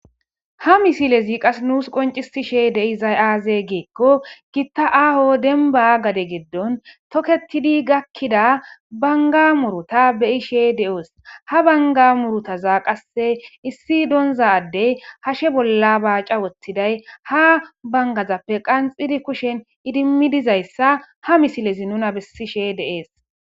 Ha misilez qase nusi qoncisishe dizay aaze gikoni Gita aaho demba gade gidoni toketidi gakida banga muruta beyishe de'os, ha banga murutaza qase issi donza Adey hashe bolla baaca wothidayi ha bangazappe qanxidi kushen idim dizaysa ha misilez nuna besishe de'es.